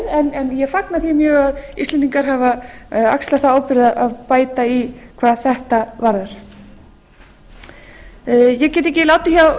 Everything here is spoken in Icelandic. en ég fagna því mjög að íslendingar afar axlað þá ábyrgð að bæta í hvað þetta varðar ég get ekki látið hjá